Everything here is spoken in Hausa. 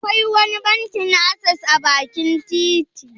Akwai wani bankin asses a bakin titi?